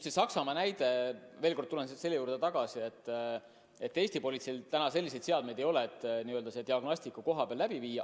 See Saksamaa näide – ma veel kord tulen selle juurde tagasi, et Eesti politseil selliseid seadmeid ei ole, et see diagnostika kohapeal läbi viia.